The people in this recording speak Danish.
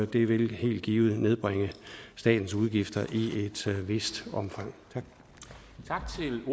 det vil helt givet nedbringe statens udgifter i et vist omfang tak